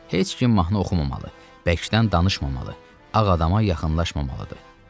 Heç kim mahnı oxumamalı, bəkdən danışmamalı, ağ adama yaxınlaşmamalıdır.